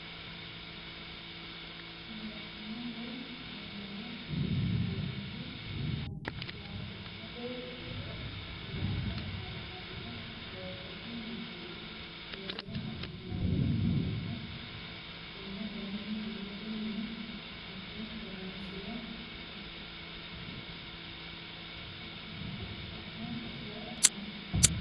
Barcima woyi wombare yinanniti mootimate biiro hundanni affattano togoti mineno loosira dandiinanni kkonna kayinni biiroha mine abbe horonsira xa'mamoshe afidhano.